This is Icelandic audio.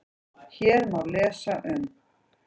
Hér má lesa um